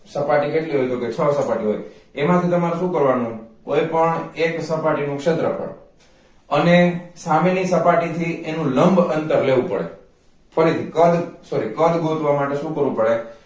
સપાટી કેટલી હોય તો કે છ સપાટી હોય એમાંથી તમારે શુ કરવા નુ કોઈ પણ એક સપાટી નુ ક્ષેત્રફળ અને સામેની સપાટી થી એનું લંબ અંતર લેવું પડે ફરીથી કદ sorry કદ ગોતવા માટે શુ કરવુ પડે